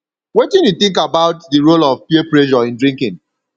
wetin you think about di role role of peer pressure in drinking